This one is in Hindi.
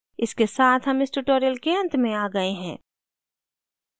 इसके साथ हम इस tutorial के अंत में आ गए हैं